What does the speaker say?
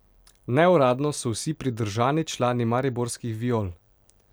Neuradno so vsi pridržani člani mariborskih Viol.